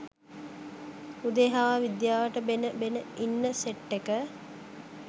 උදේ හවා විද්‍යාවට බෙන බෙන ඉන්න සෙට් එක